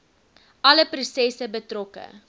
alle prosesse betrokke